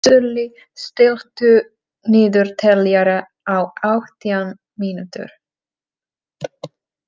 Sörli, stilltu niðurteljara á átján mínútur.